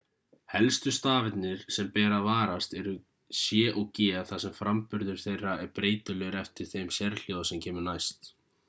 helstu stafirnir sem ber að varast eru c og g þar sem framburður þeirra er breytilegur eftir þeim sérhljóða sem kemur næst